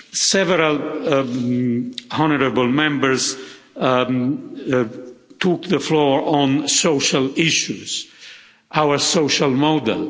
Several honourable Members took the floor on social issues and our social model.